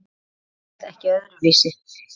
Það selst ekkert öðru vísi.